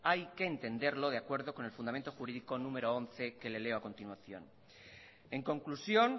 hay que entenderlo de acuerdo con el fundamento jurídico número once que le leo a continuación en conclusión